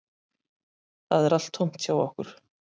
Það er allt tómt hjá okkur